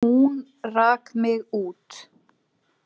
Hún rak mig út.